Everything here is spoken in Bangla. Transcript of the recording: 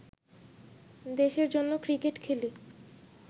দেশের জন্য ক্রিকেট খেলি